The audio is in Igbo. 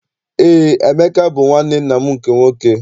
Eé, Emeka bụ nwanne nna m nke nwoke.